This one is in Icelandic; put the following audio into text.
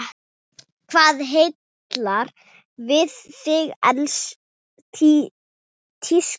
Hvað heillar þig við tísku?